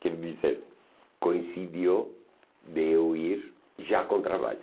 Quer dizer, coincidiu de eu ir já com trabalho.